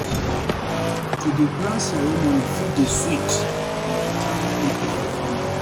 To dey plan ceremony fit dey sweet but e taya pipo for families.